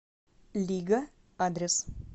лига адрес